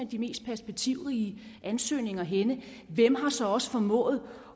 de mest perspektivrige ansøgninger henne hvem har så også formået